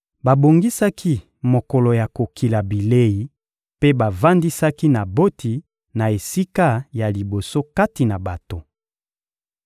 Babongisaki mokolo ya kokila bilei mpe bavandisaki Naboti na esika ya liboso kati na bato.